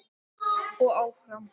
Og áfram.